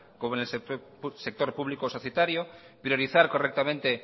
como en el sector público societario priorizar correctamente